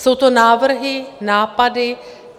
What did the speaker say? Jsou to návrhy, nápady.